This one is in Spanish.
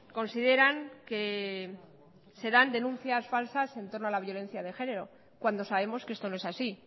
consideran que se dan denuncias falsas en torno a la violencia de género cuando sabemos que esto no es así